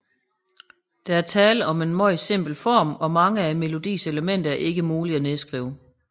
Der er tale om en meget simpel form og mange af melodiens elementer er ikke muligt at nedskrive